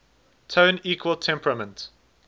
tone equal temperament